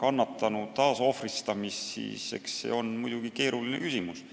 kannatanu taasohvristamist, siis eks see on muidugi keeruline küsimus.